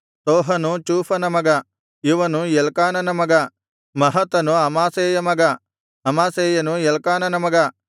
ತೋಹನು ಚೂಫನ ಮಗ ಇವನು ಎಲ್ಕಾನನ ಮಗ ಎಲ್ಕಾನನು ಮಹತನ ಮಗ ಮಹತನನು ಅಮಾಸೈಯ ಮಗ ಅಮಾಸೈಯನು ಎಲ್ಕಾನನ ಮಗ